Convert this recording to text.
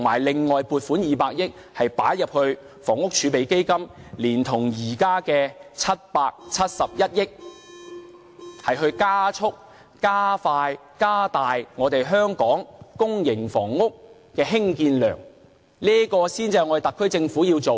另外，向房屋儲備金撥款200億元，連同現時的771億元，加速加大香港公屋房屋的興建量，這才是特區政府要做的事情。